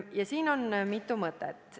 Ja siin on mitu mõtet.